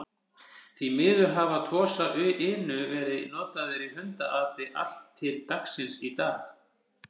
Því miður hafa Tosa Inu verið notaðir í hundaati allt til dagsins í dag.